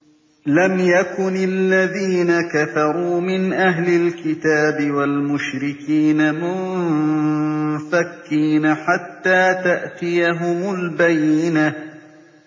لَمْ يَكُنِ الَّذِينَ كَفَرُوا مِنْ أَهْلِ الْكِتَابِ وَالْمُشْرِكِينَ مُنفَكِّينَ حَتَّىٰ تَأْتِيَهُمُ الْبَيِّنَةُ